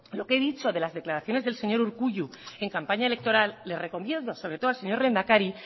lo que he dicho de las declaraciones del señor urkullu en campaña electoral le recomiendo sobre todo al señor lehendakari